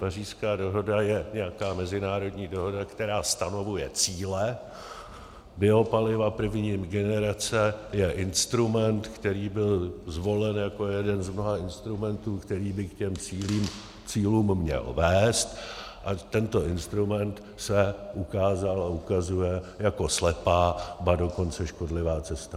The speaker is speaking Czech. Pařížská dohoda je nějaká mezinárodní dohoda, která stanovuje cíle, biopaliva první generace je instrument, který byl zvolen jako jeden z mnoha instrumentů, který by k těm cílům měl vést, a tento instrument se ukázal a ukazuje jako slepá, ba dokonce škodlivá cesta.